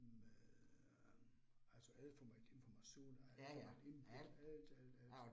Med øh altså alt for meget information alt for meget input alt alt alt